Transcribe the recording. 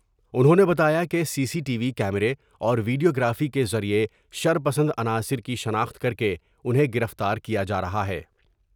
انہوں نے بتایا کہ سی سی ٹی وی میرے اور ویڈیوگرافی کے ذریعہ شر پسند عناصر کی شناخت کر کے انہیں گرفتار کیا جارہا ہے ۔